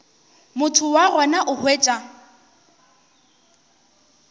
motho wa gona o hwetša